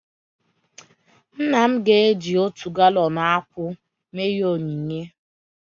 Nna m ga-eji otu galọn akwụ mee ihe onyinye